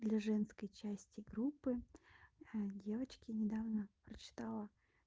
для женской части группы девочки недавно прочитала